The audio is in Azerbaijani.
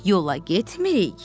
Yola getmirik.